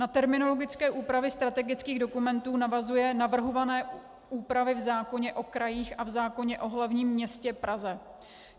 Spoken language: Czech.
Na terminologické úpravy strategických dokumentů navazují navrhované úpravy v zákoně o krajích a v zákoně o hlavním městě Praze.